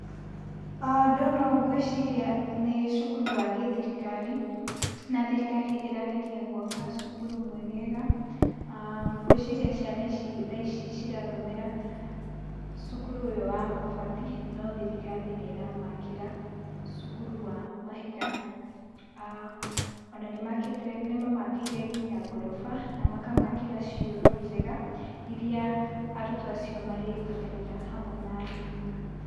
aah Ndona ũũ ngwĩciria nĩ cukuru wa gĩthirikari, na thirikari ĩrageria gwaka cukuru mwegega. aah Ngwĩciria ciana ici tha ici cirathomera cukuru ũyũ wa mabati no thirikari nĩ ĩramakĩra cukuru wa mahiga. Ona nĩmamakĩire nginya ngoroba, na makamakĩra cioro njega iria arutwo acio marĩhũthagĩra hamwe na arimũ.